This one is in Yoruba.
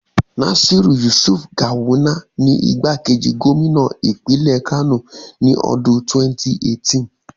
Nasir Yusuf Gawuna ni igbákejì gómínà ìpínlẹ̀ Kano ní ọdún 2018.